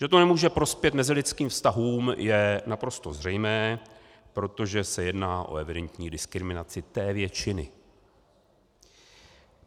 Že to nemůže prospět mezilidským vztahům, je naprosto zřejmé, protože se jedná o evidentní diskriminaci té většiny.